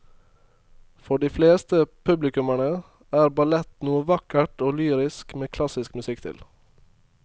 For de fleste publikummere er ballett noe vakkert og lyrisk med klassisk musikk til.